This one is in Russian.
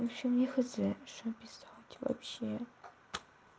в общем я хз что писать вообще